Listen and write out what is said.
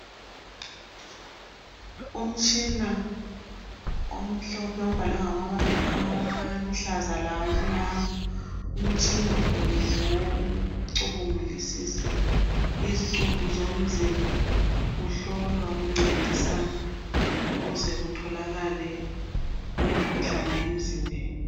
Umtshina omhlophe obhalwe ngamabala aluhlaza lamnyama. Umtshina lo ngowokucubungulisisa izicubu zomzimba kuhlolwa kuncedisana ukuze kutholakale umkhuhlane emzimbeni.